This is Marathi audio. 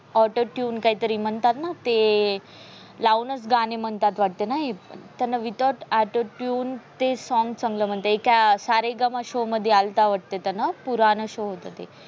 auto tune ते काहीतरी म्हणतात ना ते लाऊनच गाणे म्हणतात वाटते ना. त्यांना without auto tune ते songs चांगल मनतात. एका सा रे ग मा show मध्ये आलता वाटते त्यान पुराने show होते ते.